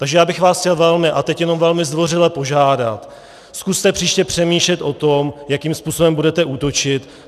Takže já bych vás chtěl velmi a teď jenom velmi zdvořile požádat, zkuste příště přemýšlet o tom, jakým způsobem budete útočit.